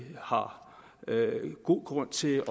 har god grund til